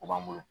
U b'an bolo